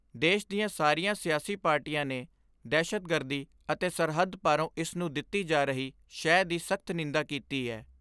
ਦੇਸ਼ ਦੀਆਂ ਸਾਰੀਆਂ ਸਿਆਸੀ ਪਾਰਟੀਆਂ ਨੇ ਦਹਿਸ਼ਤਗਰਦੀ ਅਤੇ ਸਰਹੱਦ ਪਾਰੋਂ ਇਸ ਨੂੰ ਦਿੱਤੀ ਜਾ ਰਹੀ ਸ਼ਹਿ ਦੀ ਸਖਤ ਨਿੰਦਾ ਕੀਤੀ ਏ।